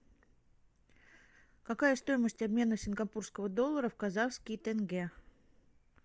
какая стоимость обмена сингапурского доллара в казахский тенге